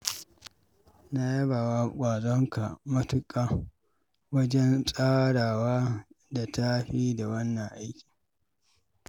Na yaba wa ƙwazonka matuƙa wajen tsara wa da tafi da wannan aiki.